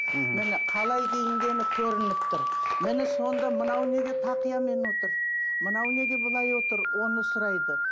мхм міне қалай киінгені көрініп тұр міне сонда мынау неге тақиямен отыр мынау неге былай отыр оны сұрайды